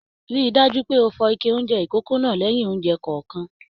Ríi dájú pé o fọ ike oúnjẹ ikòkò náà lẹyìn oúnjẹ kọọkan!